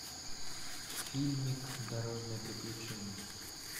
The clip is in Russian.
фильмик дорожное приключение